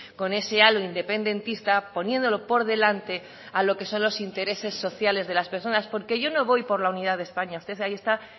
con ese halo independentista poniéndolo por delante a lo que son los intereses sociales de las personas porque yo no voy por la unidad de españa usted ahí está